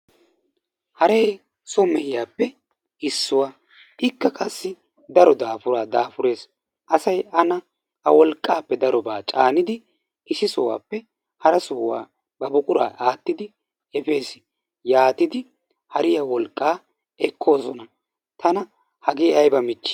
Haree so mehiyappe issuwa. Ikka qassi daro dafuraa daafurees. Asay an a wolqqaappe darobaa caannidi issi sohuwaappe hara sohuwaa ba buquraa aattidi efees, yaattidi hariya wolqqaa ekkoosona. Tana hagee ayba michchii?